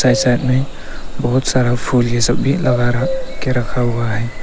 के साइड में बहुत सारा फूल जैसा भी लगा रहा के रखा हुआ है।